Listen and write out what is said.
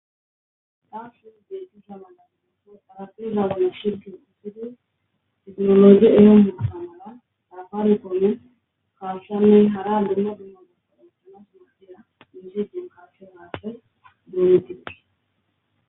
Taa su detisa madanimaso sarafizagone shirtin igido tignomoge eyongidasamala dafarekone kaasanney hara gimmo guyyona polentana urossera insegen kaasse maase donetiqi.